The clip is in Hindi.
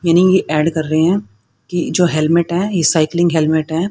मीनिंग ये ऐड कर रहे हैं कि जो हेलमेट है ये साइकलिंग हेलमेट है।